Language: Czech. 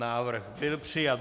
Návrh byl přijat.